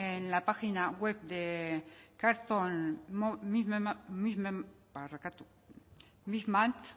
en la página web de cartoon movement